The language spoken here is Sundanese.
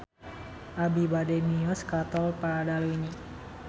Abi bade mios ka Tol Padaleunyi